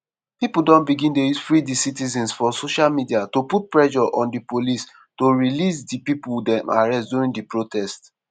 pipo don begin dey use #freethecitizens for social media to put pressure on di police to release di pipo dem arrest during di protest.